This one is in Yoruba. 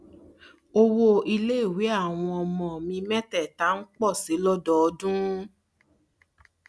owó iléèwé àwọn ọmọ mi métèèta ń pò sí i lódọọdún